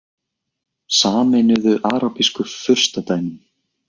Sameinuðu arabísku furstadæmin